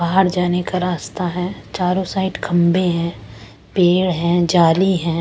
बाहर जाने का रास्ता है चारों साइड खंबे हैं पेड़ हैं जाली है।